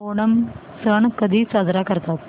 ओणम सण कधी साजरा करतात